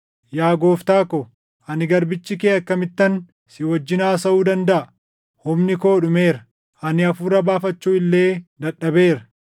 Yaa gooftaa ko, ani garbichi kee akkamittan si wajjin haasaʼuu dandaʼa? Humni koo dhumeera; ani hafuura baafachuu illee dadhabeera.”